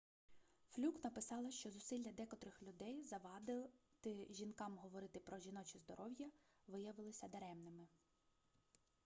флюк написала що зусилля декотрих людей завадити жінкам говорити про жіноче здоров'я виявилися даремними